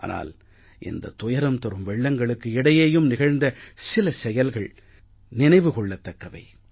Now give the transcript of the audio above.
ஆனால் இந்த துயரம்தரு வெள்ளங்களுக்கு இடையேயும் நிகழ்ந்த சில செயல்கள் நினைவு கொள்ளத் தக்கவை